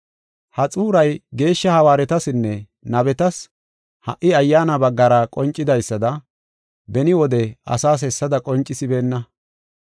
Ha xuuray geeshsha hawaaretasinne nabetas ha77i Ayyaana baggara qoncidaysada beni wode asaas hessada qoncisibeenna.